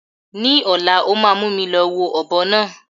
Ni ọ̀la, ó máa mú mi lọ wo ọ̀bọ náà.